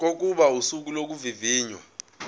kokuba usuku lokuvivinywa